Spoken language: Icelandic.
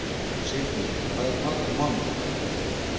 Sírnir, hvað er í matinn á mánudaginn?